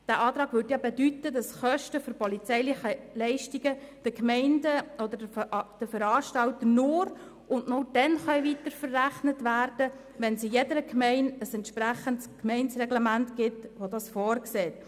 Der Antrag würde ja bedeuten, dass Kosten für polizeiliche Leistungen den Gemeinden oder den Veranstaltern nur dann weiter verrechnet werden können, wenn es in jeder Gemeinde ein entsprechendes Reglement gibt, welches dies vorsieht.